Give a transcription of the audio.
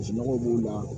Somɔgɔw b'o la